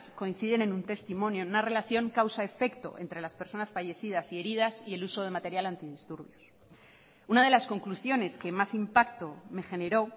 coinciden en un testimonio en una relación causa efecto entre las personas fallecidas y heridas y el uso de material antidisturbios una de las conclusiones que más impacto me generó